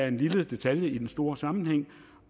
en lille detalje i den store sammenhæng